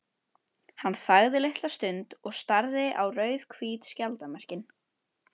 Hann þagði litla stund og starði á rauðhvít skjaldarmerkin.